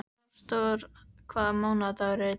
Ásdór, hvaða mánaðardagur er í dag?